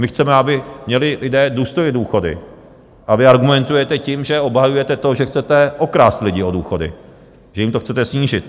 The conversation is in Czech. My chceme, aby měli lidé důstojně důchody, a vy argumentujete tím, že obhajujete to, že chcete okrást lidi o důchody, že jim to chcete snížit.